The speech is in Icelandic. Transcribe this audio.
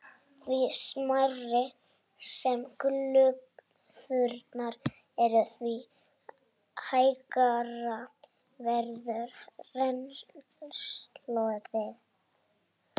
Því smærri sem glufurnar eru, því hægara verður rennslið.